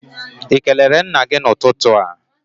Ị kelere nna gị n'ụtụtụ a?